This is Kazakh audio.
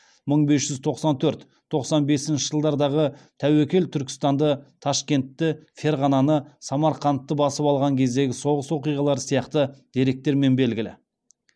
мың бес жүз тоқсан төрт тоқсан бесінші жылдардағы тәуекел түркістанды ташкентті ферғананы самарқандты басып алған кездегі соғыс оқиғалары сияқты деректермен белгілі